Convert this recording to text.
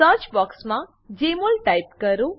search બોક્સમાં જમોલ type કરો